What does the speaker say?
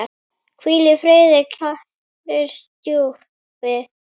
Hvíl í friði, kæri stjúpi.